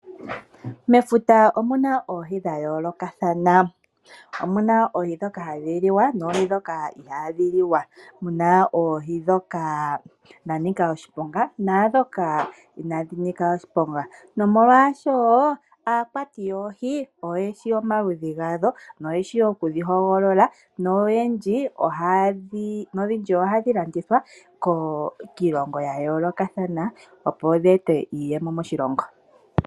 Mefuta omu na oohi dha yoolokathana. Omu na oohi ndhoka hadhi liwa noohi ndhoka ihaadhi liwa. Mu na oohi ndhoka dha nika oshiponga naa ndhoka inaadhi nika oshiponga. Aakwati yoohi oyo ye shi omaludhi gadho noye shi okudhi hogolola nodhindji ohadhi landithwa kiilongo ya yoolokathana, opo dhi ete iiyemo moshilongo.